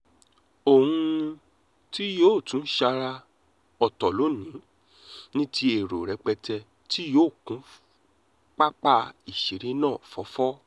ohun mí-ín tí yóò tún sára-ọ̀tọ̀ lónì-ín ní ti èrò rẹpẹtẹ tí yóò kún pápá ìṣeré náà fọ́fọ́